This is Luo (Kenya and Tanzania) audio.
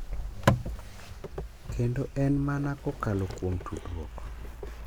Kendo en mana kokalo kuom tudruok .